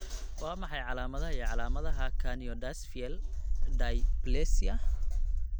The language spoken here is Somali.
Waa maxay calaamadaha iyo calaamadaha Craniodiaphyseal dysplasia?